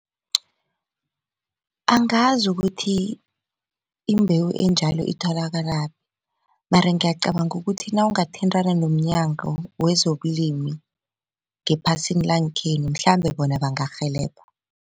Angazi ukuthi imbewu enjalo itholakalaphi mara ngiyacabanga ukuthi nawungathintana nomnyango wezobulimi ngephasini langekhenu mhlambe bona bangarhelebha.